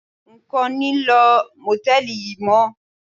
N kò ní lo Mòtẹ́lìì yí mọ́.